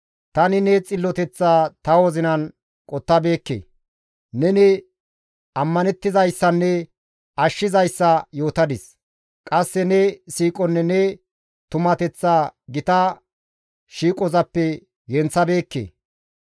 Tani ne xilloteththa ta wozinan qottabeekke; neni ammanettizayssanne ashshizayssa ta yootadis. Qasse ne siiqonne ne tumateththa gita shiiqozappe genththabeekke.